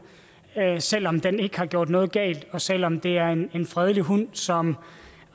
selv om den ikke har gjort noget galt og selv om det er en fredelig hund som